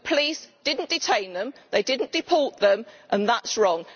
The police did not detain them, they did not deport them, and that is wrong.